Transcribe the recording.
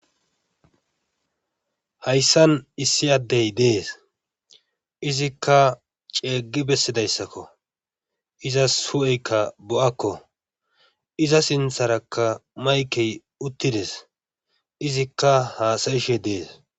hayssan issi addey dees izikka ceeggi bessidayssakko izas hu7eykka bo7akko iza sintharakka maykey uttides izikka haasayishe dees